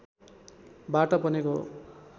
बाट बनेको हो